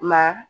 Ma